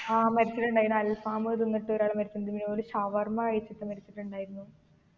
ആ മരിച്ചിട്ടുണ്ടയിന് അൽഫാമ് തിന്നിട്ട് ഒരാൾ മരിച്ചിണ്ട് പിന്നെ ഒരു ഷവർമ കഴിച്ചിട്ട് മരിച്ചിട്ടുണ്ടായിരുന്നു